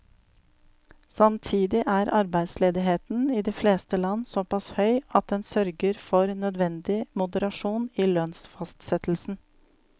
Samtidig er arbeidsledigheten i de fleste land såpass høy at den sørger for nødvendig moderasjon i lønnsfastsettelsen.